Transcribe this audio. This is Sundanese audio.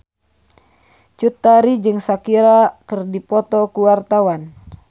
Cut Tari jeung Shakira keur dipoto ku wartawan